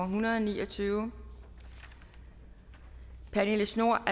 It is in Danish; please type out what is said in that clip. hundrede og ni og tyve pernille schnoor